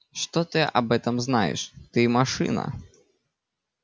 что ты об этом знаешь ты машина